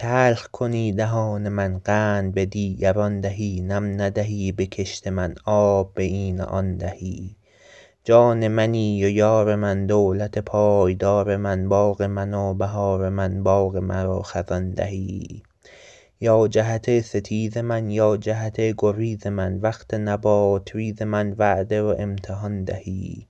تلخ کنی دهان من قند به دیگران دهی نم ندهی به کشت من آب به این و آن دهی جان منی و یار من دولت پایدار من باغ من و بهار من باغ مرا خزان دهی یا جهت ستیز من یا جهت گریز من وقت نبات ریز من وعده و امتحان دهی